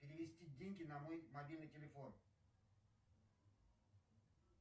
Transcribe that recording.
перевести деньги на мой мобильный телефон